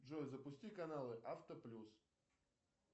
джой запусти каналы авто плюс